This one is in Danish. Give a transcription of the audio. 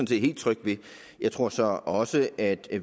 set helt tryg ved jeg tror så også at